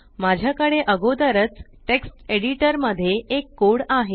माझ्याकडे अगोदरच text editor मध्ये एक कोड आहे